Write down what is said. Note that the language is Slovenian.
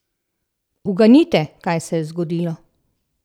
Uganite, kaj se je zgodilo!